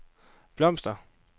blomster